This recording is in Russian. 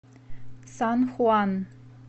сан хуан